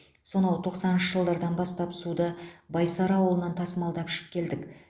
сонау тоқсаныншышы жылдардан бастап суды байсары ауылынан тасымалдап ішіп келдік